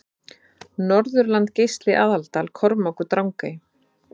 Norðurland Geisli Aðaldal Kormákur Drangey